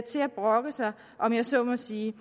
brokke sig om jeg så må sige